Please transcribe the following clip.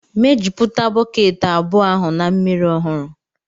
mejupụta bọket abụọ ahụ na mmiri ọhụrụ